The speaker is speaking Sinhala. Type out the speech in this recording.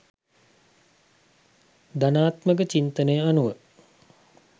ධනාත්මක චින්තනය අනුව